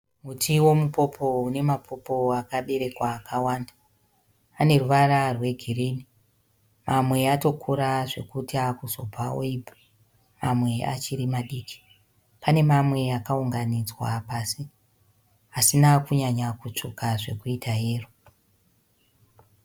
Muti wemupopo une mapopo akaberekwa akawanda. Aneruvara rwegirinhi. Mamwe atokura zvekuti akuzobva oibva. Mamwe achiri madiki. Pane mamwe akaunganidzwa pasi asina kunyanya kutsvuka zvekuita yero.